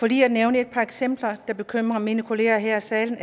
lige nævne et par eksempler der bekymrer mine kolleger her i salen